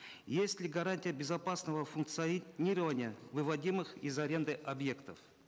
есть ли гарантия безопасного функционирования выводимых из аренды объектов